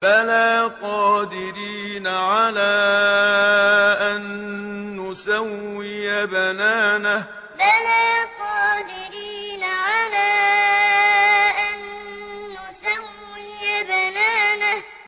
بَلَىٰ قَادِرِينَ عَلَىٰ أَن نُّسَوِّيَ بَنَانَهُ بَلَىٰ قَادِرِينَ عَلَىٰ أَن نُّسَوِّيَ بَنَانَهُ